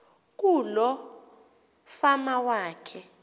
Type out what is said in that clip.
kuloo fama yakhe